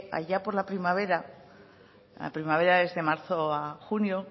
allá por la primavera la primavera es de marzo a junio